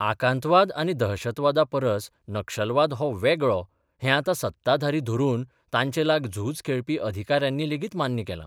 आकांतवाद आनी दहशतवादा परस नक्षलवाद हो वेगळो हें आतां सत्ताधारी धरून तांचेलाग झूज खेळपी अधिकाऱ्यांनी लेगीत मान्य केलां.